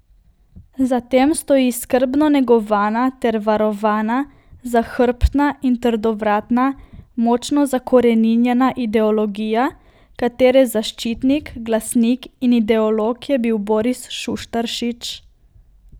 Za tem stoji skrbno negovana ter varovana, zahrbtna in trdovratna, močno zakoreninjena ideologija, katere zaščitnik, glasnik in ideolog je bil Boris Šuštaršič.